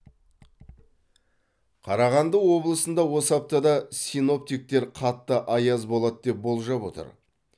қарағанды облысында осы аптада синоптиктер қатты аяз болады деп болжап отыр